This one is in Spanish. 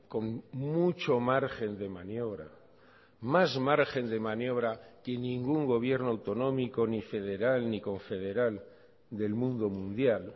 con mucho margen de maniobra más margen demaniobra que ningún gobierno autonómico ni federal ni confederal del mundo mundial